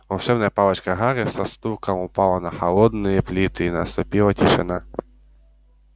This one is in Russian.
волшебная палочка гарри со стуком упала на холодные плиты и наступила тишина